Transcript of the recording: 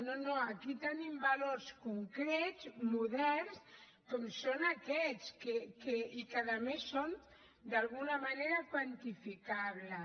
no no aquí tenim valors concrets moderns com són aquests i que a més són d’alguna manera quantificables